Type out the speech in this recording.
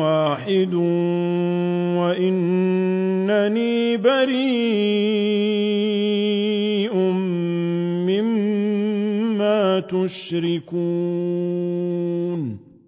وَاحِدٌ وَإِنَّنِي بَرِيءٌ مِّمَّا تُشْرِكُونَ